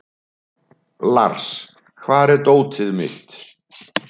Lars, hvar er dótið mitt?